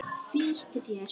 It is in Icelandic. Flýttu þér.